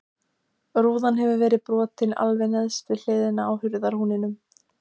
Rúðan hefur verið brotin alveg neðst við hliðina á hurðarhúninum.